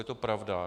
Je to pravda?